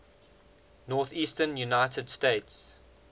northeastern united states